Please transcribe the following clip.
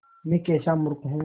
मैं कैसा मूर्ख हूँ